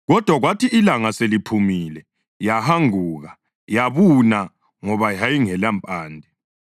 Kodwa kwathi ilanga seliphumile, yahanguka yabuna ngoba yayingelampande.